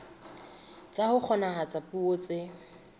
tsa ho kgonahatsa puo tse